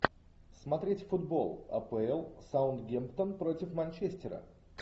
смотреть футбол апл саутгемптон против манчестера